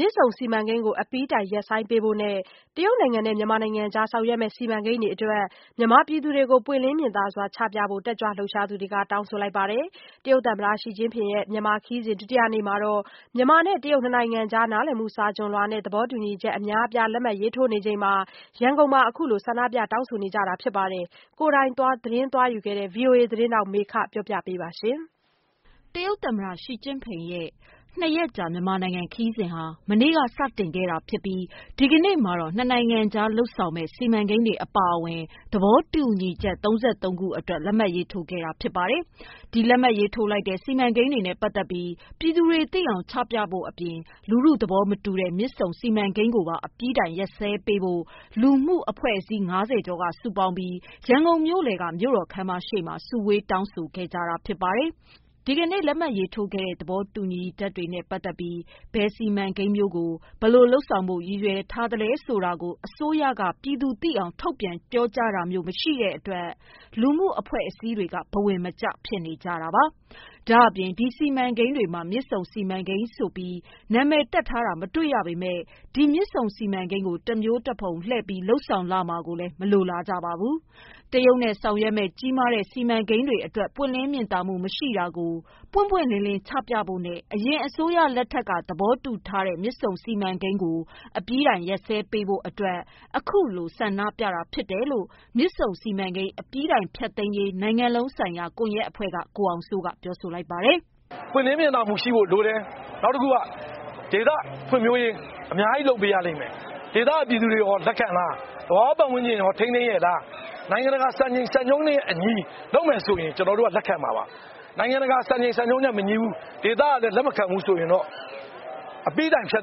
မြစ်ဆုံစီမံကိန်းကို အပြီးတိုင် ရပ်ဆိုင်းပေးဖို့နဲ့ တရုတ်နိုင်ငံနဲ့လုပ်မယ့် စီမံကိန်းတွေအတွက် မြန်မာပြည်သူတွေကို ပွင့်လင်းမြင်သာစွာ ချပြဖို့ တက်ကြွလှုပ်ရှားသူတွေက တောင်းဆိုလိုက်ပါတယ်။ တရုတ်သမ္မတ Xi Jinping ရဲ့ မြန်မာခရီးစဉ် ဒုတိယနေ့မှာ မြန်မာနဲ့ တရုတ် နှစ်နိုင်ငံကြား နားလည်မှု စာချွန်လွှာနဲ့ သဘောတူညီချက် အများအပြား လက်မှတ်ရေးထိုးနေချိန်မှာပဲ ရန်ကုန်မှာ အခုလို ဆန္ဒပြ တောင်းဆိုခဲ့ကြတာပါ။ အပြည့်အစုံကို ကိုယ်တိုင် သတင်းသွားယူခဲ့တဲ့ ဗွီအိုအေသတင်းထောက် မေခက တင်ပြပေးထားပါတယ်။ တရုတ်သမ္မတ Xi Jinping ရဲ့ နှစ်ရက်ကြာ မြန်မာနိုင်ငံခရီးစဉ်ဟာ မနေ့က စတင်ခဲ့တာဖြစ်ပြီး ဒီကနေ့မှာတော့ နှစ်နိုင်ငံကြား လုပ်ဆောင်မယ့် စီမံကိန်းတွေ အပါအဝင် သဘောတူညီမှု ၃၃ ခုအတွက် လက်မှတ်ရေးထိုးခဲ့တာ ဖြစ်ပါတယ်။ ဒီလက်မှတ်ရေးထိုးလိုက်တဲ့ စီမံကိန်းတွေနဲ့ ပတ်သက်ပြီး ပြည်သူတွေသိအောင် ချပြဖို့အပြင် လူထုသဘောမတူတဲ့ မြစ်ဆုံစီမံကိန်းကိုပါ အပြီးတိုင်ရပ်စဲပေးဖို့ လူမှု လူ့အဖွဲ့အစည်း ၅၀ ကျော်က စုပေါင်းပြီး ရန်ကုန်မြို့လယ်က မြို့တော်ခန်းမရှေ့မှာ စုဝေးတောင်းဆိုခဲ့ကြတာ ဖြစ်ပါတယ်။ ဒီကနေ့ လက်မှတ်ရေးထိုးခဲ့တဲ့ သဘောတူညီချက်တွေနဲ့ ပတ်သက်ပြီး ဘယ်စီမံကိန်းမျိုးကို ဘယ်လိုလုပ်ဆောင်ဖို့ ရည်ရွယ်ထားတယ် ဆိုတာကို အစိုးရက ပြည်သူသိအောင် ထုတ်ပြန် ပြောကြားတာမျိုး မရှိတဲ့အတွက် လူမှု လူ့အဖွဲ့အစည်းတွေက ဘဝင်မကျ ဖြစ်နေကြတာပါ။ ဒါ့အပြင် ဒီစီမံကိန်းတွေထဲမှာ မြစ်ဆုံစီမံကိန်းဆိုပြီး နာမည်တပ်ထားတာ မတွေ့ရပေမယ့် ဒီမြစ်ဆုံစီမံကိန်းကို တမျိုးတဖုံ လှည့်ပြီး လုပ်ဆောင်လာမှာကိုလည်း မလိုလားကြပါဘူး။ တရုတ်နဲ့ ဆောင်ရွက်မယ့် ကြီးမားတဲ့ စီမံကိန်းကြီးတွေအတွက် ပွင့်လင်းမြင်သာမှု မရှိတာကို ပွင့်ပွင့်လင်းလင်း ချပြဖို့နဲ့ အရင်အစိုးရလက်ထက်က သဘောတူထားတဲ့ မြစ်ဆုံစီမံကိန်းကို အပြီးတိုင် ရပ်ဆိုင်းပေးဖို့အတွက် အခုလို ဆန္ဒပြတာဖြစ်တယ်လို့ မြစ်ဆုံစီမံကိန်း အပြီးတိုင်ဖျက်သိမ်းရေး နိုင်ငံလုံးဆိုင်ရာ ကွန်ရက်အဖွဲ့က ကိုအောင်စိုးက ပြောပါတယ်။ “ပွင့်လင်းမြင်သာမှုရှိဖို့ လိုတယ်။ ဒေသဖွံ့ဖြိုးရေး အများကြီး လုပ်ပေးရလိမ့်မယ်။ ဒေသခံ ပြည်သူတွေကော လက်ခံလား၊ သဘာဝပတ်ဝန်းကျင်ကော ထိန်းသိမ်းရဲ့လား၊ နိုင်ငံတကာ စံချိန်စံညွှန်းနဲ့အညီ လုပ်မယ်ဆိုရင် ကျနော်တို့ လက်ခံမှာပါ။ နိုင်ငံတကာစံနှုန်းနဲ့ မညီတာ၊ နောက် ဒေသကလည်း လက်မခံတာတွေ ရှိရင်တော့ အပြီးတိုင်ရပ်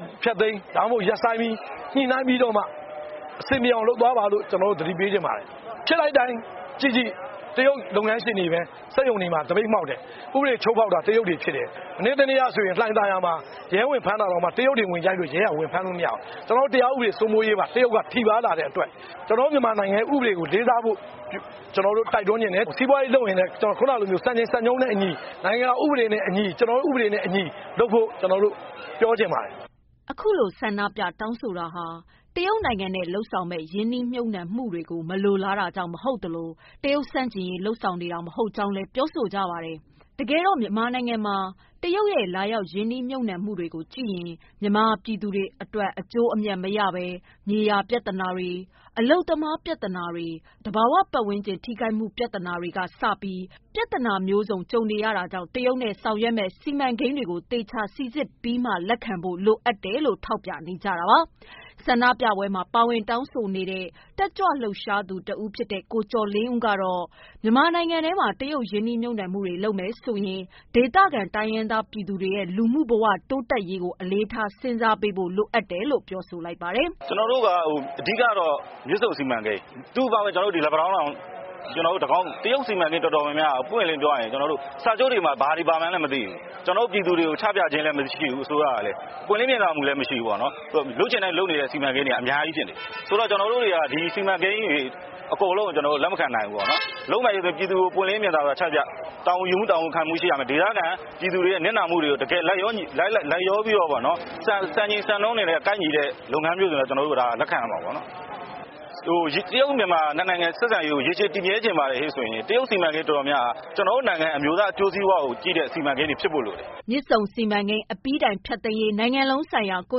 ဖို့ သတိပေးချင်ပါတယ်။ ဖြစ်လိုက်တိုင်း တရုတ်လုပ်ငန်းရှင်တွေပဲ ဥပဒေချိုးဖောက်တယ်။ တရားဥပဒေစိုးမိုးရေးပါ တရုတ်က ထိပါးလာတယ်။ စီးပွားရေးလုပ်ရင် နိုင်ငံဥပဒေနဲ့အညီ လုပ်ဖို့ တိုက်တွန်းလိုတယ်။” အခုလို ဆန္ဒပြ တောင်းဆိုနေတာဟာ တရုတ်နိုင်ငံနဲ့ လုပ်ဆောင်မယ့် ရင်းနှီးမြှုပ်နှံမှုတွေကို မလိုလားတာကြောင့် မဟုတ်သလို တရုတ်ဆန့်ကျင်ရေး လုပ်နေတာ မဟုတ်ကြောင်းလည်း ပြောပါတယ်။ တကယ်တော့ မြန်မာနိုင်ငံမှာ တရုတ်ရဲ့ လာရောက် ရင်းနှီးမြှုပ်နှံမှုတွေကို ကြည့်ရင် မြန်မာပြည်သူတွေအတွက် အကျိုးအမြတ်မရဘဲ မြေယာပြဿနာ၊ အလုပ်သမား ပြဿနာကစပြီး ပြဿနာမျိုးစုံနဲ့ ကြုံနေတာကြောင့် တရုတ်နဲ့ဆောင်ရွက်မယ့် စီမံကိန်းတွေကို သေချာစိစစ်ပြီးမှ လက်ခံဖို့ လိုအပ်တယ်လို့လည်း ထောက်ပြပါတယ်။ ဆန္ဒပြပွဲမှာ ပါဝင်တောင်းဆိုနေတဲ့ တက်ကြွလှုပ်ရှားသူ ကိုကျော်လင်းဦးကလည်း မြန်မာနိုင်ငံထဲမှာ တရုတ် ရင်းနှီးမြှုပ်နှံမှုတွေ လုပ်မယ်ဆိုရင် ဒေသခံ တိုင်းရင်းသားပြည်သူတွေရဲ့ လူနေမှုဘဝ တိုးတက်ဖွံ့ဖြိုးရေးကို အလေးထား စဉ်းစားပေးဖို့ လိုအပ်တယ်လို့ ပြောပါတယ်။ “အဓိကကတော့ မြစ်ဆုံစီမံကိန်း၊ နောက် လက်ပံတောင်း စတာတွေပေါ့။ တရုတ်စီမံကိန်းတွေ တော်တော်များများက ပွင့်ပွင့်လင်းလင်းပြောရရင် စာချုပ်မှာ ဘာတွေပါလဲဆိုတာ မသိရဘူး။ အစိုးရဘက်က ပြည်သူတွေကို ချပြတာလည်း မရှိဘူး။ ပွင့်လင်းမြင်သာစွာ မရှိဘူး။ လုပ်ချင်တိုင်း လုပ်နေတာ အများကြီးဖြစ်နေတာ။ ကျနော်တို့တွေက စီမံကိန်းတွေ အကုန်ကို လက်မခံနိုင်ဘူး။ တာဝန်ခံမှု တာဝန်ယူမှု ရှိရမယ်။ ဒေသခံပြည်သူတွေ နစ်နာမှုတွေကိုလည်း စဉ်းစားပေးစေချင်တယ်။ ဒေသအတွက် အကျိုးလည်းဖြစ် စံချိန်စံညွှန်းညီရင်တော့ ကျနော်တို့ လက်ခံရမှာပါ။ တရုတ်-မြန်မာ နှစ်နိုင်ငံ ဆက်ဆံရေးကို ရေရှည် တည်မြဲချင်ရင် ကျနော်တို့နိုင်ငံရဲ့ အကျိုးစီးပွားကို ကြည့်ဖို့လိုအပ်တယ်။” မြစ်ဆုံစီမံကိန်း အပြီးတိုင်ဖျက်သိမ်းရေး နိုင်ငံလုံးဆိုင်ရာ ကွ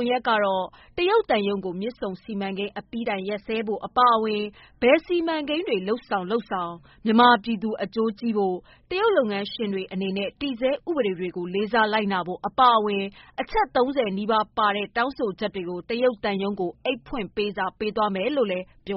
န်ရက်ကတော့ တရုတ်သံရုံးကို မြစ်ဆုံစီမံကိန်း အပြီးတိုင် ရပ်စဲပေးဖို့ အပါအဝင် ဘယ်စီမံကိန်းတွေ လုပ်ဆောင်လုပ်ဆောင် မြန်မာပြည်သူအကျိုးကို ကြည့်ဖို့၊ တရုတ်လုပ်ငန်းရှင်တွေ အနေနဲ့ တည်ဆဲဥပဒေတွေကို လေးစားလိုက်နာဖို့ အပါအဝင် အချက် ၃၀ နီးပါးပါတဲ့ တောင်းဆိုချက်တွေကို တရုတ်သံရုံးကို အိတ်ဖွင့်ပေးစာ ပေးသွားမယ်လို့ ပြော